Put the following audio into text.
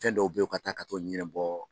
Fɛn dɔw bɛ yen ka taa ka to ɲɛna bɔ.